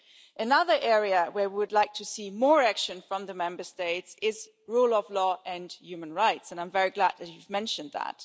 Another area where we would like to see more action from the Member States is rule of law and human rights, and I'm very glad that you mentioned that.